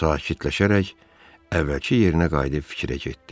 Sakirləşərək əvvəlki yerinə qayıdıb fikrə getdi.